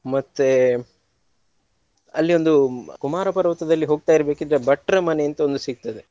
ಮತ್ತೆ ಅಲ್ಲಿ ಒಂದು ಕುಮಾರ ಪರ್ವತದಲ್ಲಿ ಹೋಗ್ತಾ ಇರ್ಬೇಕಿದ್ರೆ ಭಟ್ರ ಮನೆ ಅಂತ ಒಂದು ಸಿಗ್ತದೆ.